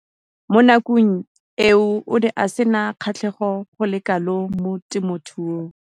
Mo nakong eo o ne a sena kgatlhego go le kalo mo temothuong.